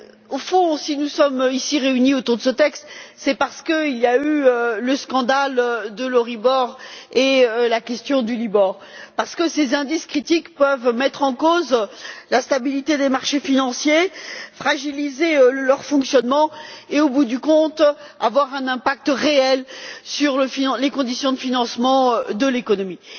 Au fond, si nous sommes ici réunis autour de ce texte, c'est parce qu'il y a eu le scandale de l'Euribor et la question du Libor, parce que ces indices critiques peuvent mettre en cause la stabilité des marchés financiers, fragiliser leur fonctionnement et, au bout du compte, avoir un impact réel sur les conditions de financement de l'économie.